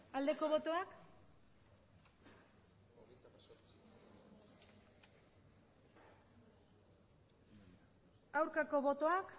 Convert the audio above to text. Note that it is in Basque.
aldeko botoak aurkako botoak